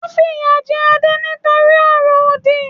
Wọn fìyà jẹ Adé nítorí ọ̀rọ̀-òdì.